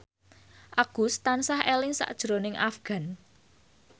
Agus tansah eling sakjroning Afgan